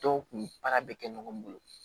Dɔw kun baara bɛ kɛ ɲɔgɔn bolo